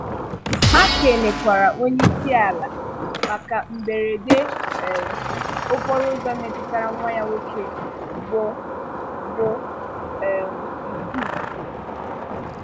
Ha kènekwàrà onyeisiala maka mberede um okporoụ̀zọ metụtara nwá ya nwoke bụ bụ um Yusuf.